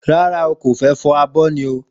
Ràrá o,kófẹ fọ àbọ ni.